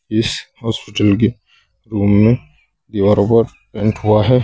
इस हॉस्पिटल के रूम में दीवारों पर पेंट हुआ है।